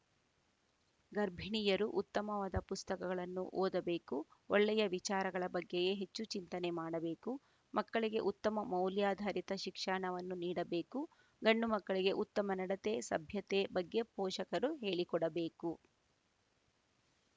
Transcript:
ಗರ್ಭಿಣಿಯರು ಉತ್ತಮವಾದ ಪುಸ್ತಕಗಳನ್ನು ಓದಬೇಕು ಒಳ್ಳೆಯ ವಿಚಾರಗಳ ಬಗ್ಗೆಯೇ ಹೆಚ್ಚು ಚಿಂತನೆ ಮಾಡಬೇಕು ಮಕ್ಕಳಿಗೆ ಉತ್ತಮ ಮೌಲ್ಯಾಧಾರಿತ ಶಿಕ್ಷಣವನ್ನು ನೀಡಬೇಕು ಗಂಡು ಮಕ್ಕಳಿಗೆ ಉತ್ತಮ ನಡತೆ ಸಭ್ಯತೆ ಬಗ್ಗೆ ಪೋಷಕರು ಹೇಳಿಕೊಡಬೇಕು